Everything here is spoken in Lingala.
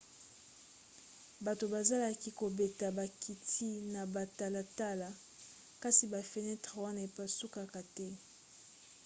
bato bazalaki kobeta bakiti na batalatala kasi bafenetre wana epasukaka te